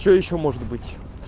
что ещё может быть